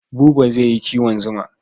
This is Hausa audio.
Buba zai yi kiwon zuma.